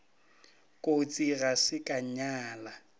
kotsi ga se ka nyala